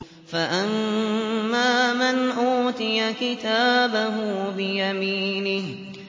فَأَمَّا مَنْ أُوتِيَ كِتَابَهُ بِيَمِينِهِ